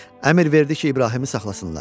Əmr verdi ki, İbrahimı saxlasınlar.